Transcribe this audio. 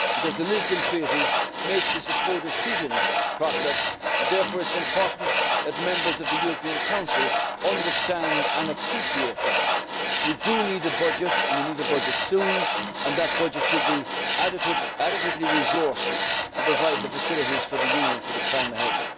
The Lisbon Treaty makes this a codecision process, therefore it is important that Members of the European Council understand and appreciate that. We do need a budget and we need a budget soon, and that budget should be adequately resourced to provide the facilities for the Union for the time ahead.